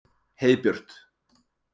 Heiðbjört